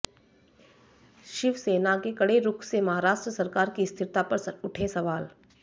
शिवसेना के कड़े रुख से महाराष्ट्र सरकार की स्थिरता पर उठे सवाल